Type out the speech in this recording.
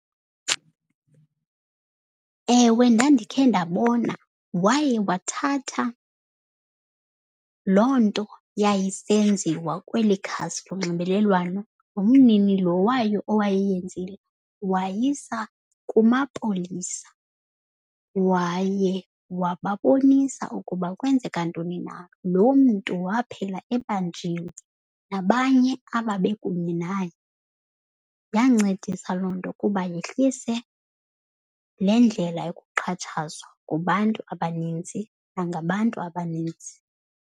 Ewe, ndandikhe ndabona. Waye wathatha loo nto yayisenziwa kweli khasi lonxibelelwano nomnini lo wayo owayeyenzile wayisa kumapolisa waye wababonisa ukuba kwenzeka ntoni na. Loo mntu waphela ebanjiweyo nabanye ababe kunye naye. Yancedisa loo nto kuba yehlise le ndlela yokuxhatshazwa kubantu abaninzi nangabantu abanintsi.